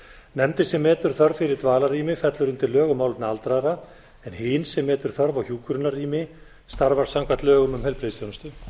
nefndin sem metur þörf fyrir dvalarrými fellur undir lög um málefni aldraðra en hin sem metur þörf á hjúkrunarrými starfar samkvæmt lögum um heilbrigðisþjónustu